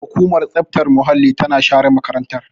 Hukumar tsaftar muhalli tana share makarantar.